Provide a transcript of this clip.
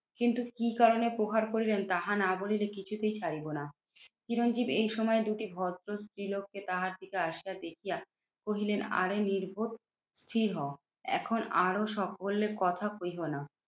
কিন্তু কি কারণে প্রহার করিলেন? তাহা না বলিলে কিছুতেই ছাড়িব না। চিরঞ্জিত এই সময় দুটি ভদ্র স্ত্রীলোককে তাহার দিকে আসিয়া দেখিয়া কহিলেন, আরে নির্বোধ স্থির হও। এখন আরও সকলে কথা কৈহ না।